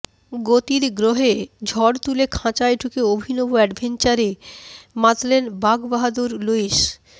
গতির গ্রহে ঝড় তুলে খাঁচায় ঢুকে অভিনব অ্যাডভেঞ্চারে মাতলেন বাঘবাহাদুর লুইস